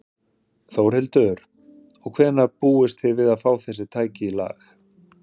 Þórhildur: Og hvenær búist þið við að fá þessi tæki í lag?